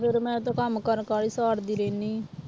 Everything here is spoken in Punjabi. ਫਿਰ ਮੈਂ ਤੇ ਕੰਮ ਕਰ ਕਰ ਹੀ ਸਾਰਦੀ ਰਹਿੰਦੀ ਹਾਂ